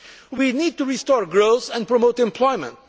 We need to restore growth and promote